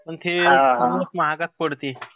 पण ते खूपच महागात पडते.